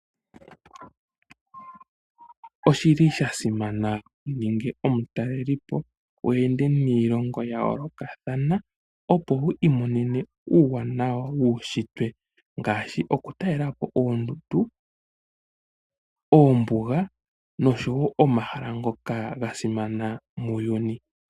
Oshi li shasimana wu ninge omutalelipo weende niilongo ya yoolokothana, opo wu mone uuwanawa wuushitwe ngaashi okutalelapo oondundu, oombuga oshowo omahala ngoka gasimana muuyuni.